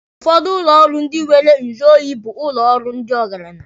Ụfọdụ ụlọ ọrụ ndị nwere nyụ oyi bụ ụlọ ọrụ ndị ọgaranya.